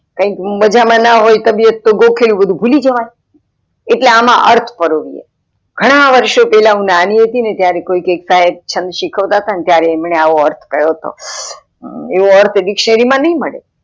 કયક મજા માં ન હોઈ તબિયત તો ગોખેલું બધું ભૂલી જવાય એટલે આમાં અર્થ પરોવ્યે ઘણા વર્ષો પહેલા હું નાની હતી ને ત્યારે કોઈ એક શ્હંદ શીખવતા હતા ત્યારે એમને આવો અર્થ કહીયો હતો એવો અર્થ dictionary માં નઈ મળે